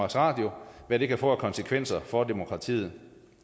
radio og hvad det kan få af konsekvenser for demokratiet